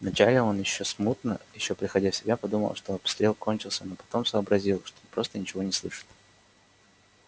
вначале он ещё смутно ещё приходя в себя подумал что обстрел кончился но потом сообразил что просто ничего не слышит